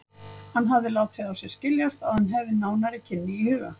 Hann hafði látið á sér skiljast, að hann hefði nánari kynni í huga.